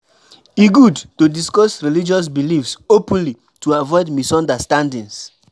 E good to discuss religious beliefs openly to avoid misunderstandings.